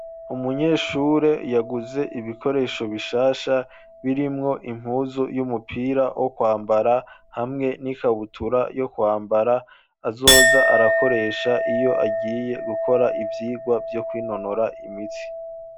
Umunyeshure yaguze ibikoresho bishasha birimwo impuzu y'umupira wo kwambara hamwe n'ikabutura yo kwambara azoza arakoresha iyo agiye gukora ivyirwa vyo kwinonora imitsi.